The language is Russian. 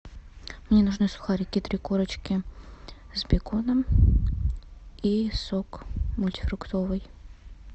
мне нужны сухарики три корочки с беконом и сок мультифруктовый